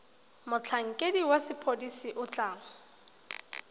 motlhankedi wa sepodisi o tla